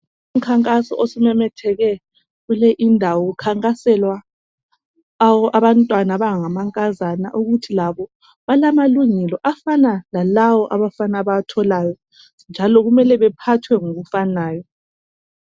Umkhankaso osumemetheke kule indawo kukhankaselwa abantwana abangamankazana ukuthi labo balamalungelo afana lalawo abafana abawatholayo, njalo kumele bephathwe ngokufanayo.